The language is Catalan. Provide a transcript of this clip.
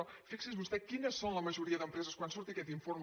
però fixi’s vostè quines són la majoria d’empreses quan surti aquest informe